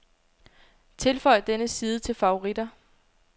Tilføj denne side til favoritter.